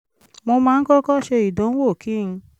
mo máa ń kọ́kọ́ ṣe ìdánwò kí n